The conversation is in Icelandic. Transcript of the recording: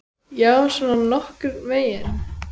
Já, svona nokkurn veginn.